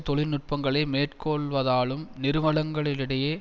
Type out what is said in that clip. தொழில்நுட்பங்களை மேற்கொள்வதாலும் நிறுவனங்களிடையே